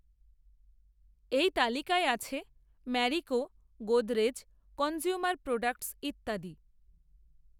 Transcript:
এই তালিকায় আছে ম্যারিকো, গোদরেজ, কনজ্যুমার প্রডাক্টস, ইত্যাদি